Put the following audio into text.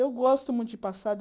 Eu gosto muito de passado.